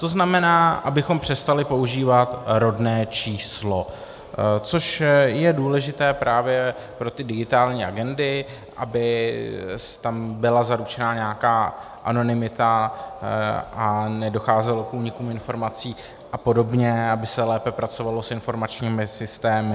To znamená, abychom přestali používat rodné číslo, což je důležité právě pro ty digitální agendy, aby tam byla zaručena nějaká anonymita a nedocházelo k únikům informací a podobně, aby se lépe pracovalo s informačními systémy.